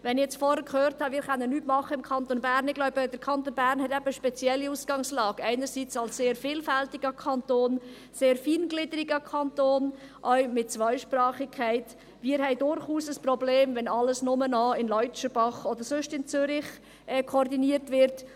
Wenn ich vorhin gehört habe, wir könnten im Kanton Bern nichts tun – ich glaube, der Kanton Bern hat eben eine spezielle Ausgangslage, einerseits als sehr vielfältiger, sehr feingliedriger Kanton, auch mit der Zweisprachigkeit –, haben wir durchaus ein Problem, wenn alles nur noch in Leutschenbach oder sonst wo in Zürich koordiniert wird.